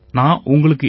ரொம்ப நன்றி சார்